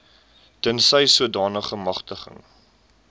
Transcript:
tensy sodanige magtiging